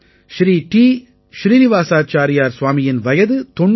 Sri T Srinivasachariar ஸ்வாமியின் வயது 92